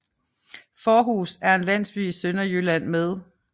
Fårhus er en landsby i Sønderjylland med